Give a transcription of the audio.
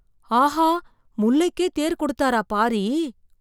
ஆஹா! முல்லைக்கே தேர் கொடுத்தாரா பாரி!